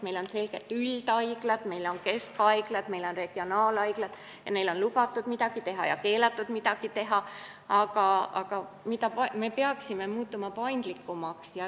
Meil on selgelt üldhaiglad, meil on keskhaiglad, meil on regionaalhaiglad, neil on lubatud midagi teha ja keelatud midagi teha, aga me peaksime muutuma paindlikumaks.